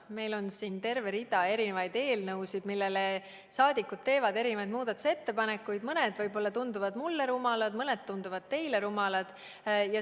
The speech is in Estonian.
Meil on siin terve hulk eelnõusid, millele saadikud teevad erinevaid muudatusettepanekuid, millest mõned tunduvad võib-olla mulle rumalad, mõned aga tunduvad jälle teile rumalad.